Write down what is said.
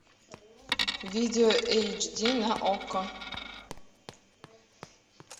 видео эйч ди на окко